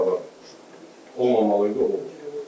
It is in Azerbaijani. Bu da olmamalı idi, olub.